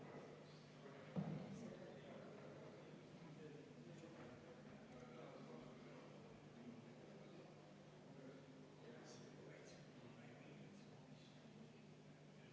Eks see kolmapäev läheb meil sujuvalt üle neljapäevaks ja teeme ka öö läbi tööd, näidates, kuivõrd usinalt ja tublilt me seisame kõikide nende asjade eest, mille eest tuleb seista.